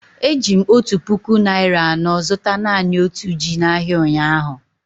Eji m otu puku naịra anọ zụta naanị otu ji n'ahịa ụnyahụ.